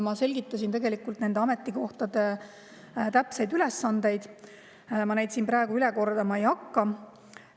Ma selgitasin nende ametikohtade täpseid ülesandeid, ma neid kordama ei hakka.